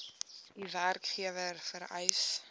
u werkgewer vereis